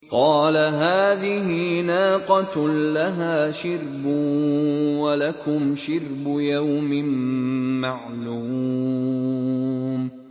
قَالَ هَٰذِهِ نَاقَةٌ لَّهَا شِرْبٌ وَلَكُمْ شِرْبُ يَوْمٍ مَّعْلُومٍ